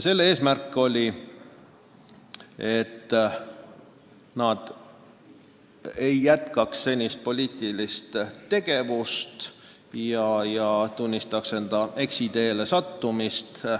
Eesmärk oli, et nad ei jätkaks poliitilist tegevust ja tunnistaks enda eksiteele sattumist.